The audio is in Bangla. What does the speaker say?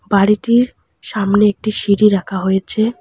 বাড়িটির সামনে একটি সিঁড়ি রাখা হয়েছে।